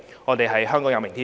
我們相信香港有明天。